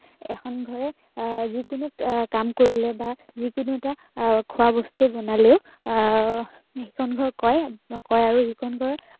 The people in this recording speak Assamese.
এখন ঘৰে আহ যি কোনো আহ এটা কাম কৰিলে বা যি কোনো এটা আহ খোৱা বস্তু বনালেও সিখন ঘৰক কয়, কয় আৰু সিখন ঘৰক